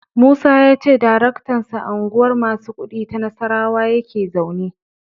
Musa ya ce daraktansu a Unguwar masu kuɗi ta Nassarawa yake zaune.